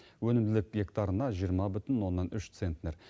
өнімділік гектарына жиырма бүтін оннан үш центнер